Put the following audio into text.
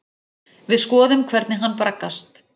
Við skoðum hvernig hann braggast.